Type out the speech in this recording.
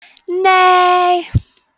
nei